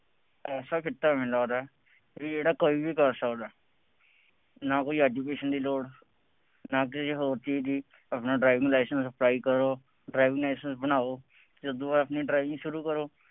ਐਸਾ ਕਿੱਤਾ ਮੈਨੂੰ ਲੱਗਦਾ ਕਿ ਜਿਹੜਾ ਕੋਈ ਵੀ ਕਰ ਸਕਦਾ। ਨਾ ਕੋਈ education ਦੀ ਲੋੜ, ਨਾ ਕਿਸੇ ਹੋਰ ਚੀਜ਼ ਦੀ, ਆਪਣਾ driving licence ਕਰੋ, driving licence ਬਣਾਉ, ਅਤੇ ਉਦੋਂ ਬਾਅਦ ਆਪਣੀ driving ਸ਼ੁਰੂ ਕਰੋ।